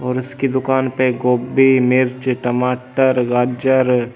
और इसकी दुकान पे गोभी मिर्च टमाटर गाजर--